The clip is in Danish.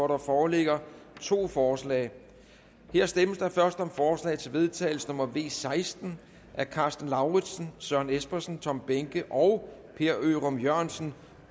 der foreligger to forslag der stemmes først om forslag til vedtagelse nummer v seksten af karsten lauritzen søren espersen tom behnke og per ørum jørgensen